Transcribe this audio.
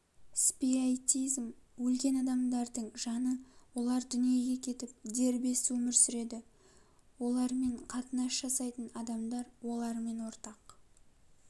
спиоитизм өлген адамдардың жаны олар дүниеге кетіп дербес өмір сүреді олармен қатынас жасайтын адамдар олармен ортақ